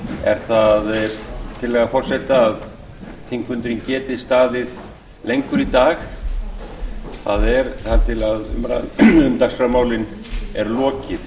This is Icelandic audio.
er það tillaga forseta að þingfundurinn geti staðið lengur í dag það er þar til umræðu um dagskrármálin er lokið